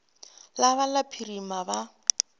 la ba la phirima ba